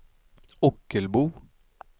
Ockelbo